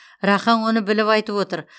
рақаң оны біліп айтып отыр